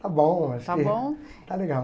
Está bom, acho que está bom está legal.